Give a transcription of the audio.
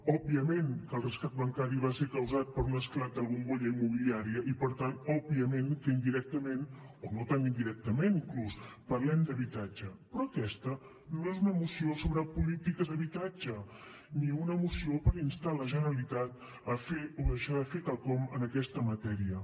òbviament que el rescat bancari va ser causat per un esclat de la bombolla immobiliària i per tant òbviament que indirectament o no tan indirectament inclús parlem d’habitatge però aquesta no és una moció sobre polítiques d’habitatge ni una moció per instar la generalitat a fer o a deixar de fer quelcom en aquesta matèria